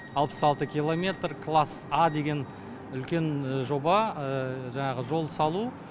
алпыс алты киллометр класс а деген үлкен жоба жаңағы жол салу